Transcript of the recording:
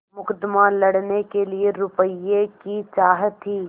मुकदमा लड़ने के लिए रुपये की चाह थी